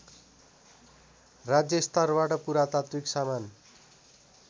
राज्यस्तरबाट पुरातात्विक सामान